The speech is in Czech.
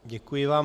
Děkuji vám.